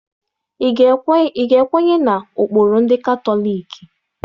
Ị ga-ekwenye na ụkpụrụ ndị Katọliki?